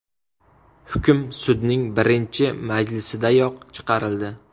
Hukm sudning birinchi majlisidayoq chiqarildi.